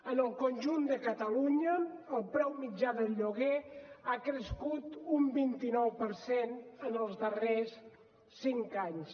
en el conjunt de catalunya el preu mitjà del lloguer ha crescut un vint nou per cent en els darrers cinc anys